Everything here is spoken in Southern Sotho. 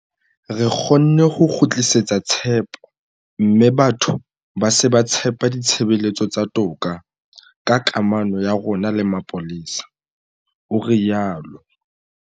Re kgonne ho kgutlisetsa tshepo mme batho ba se ba tshepa ditshebeletso tsa toka ka kamano ya rona le mapolesa, o rialo.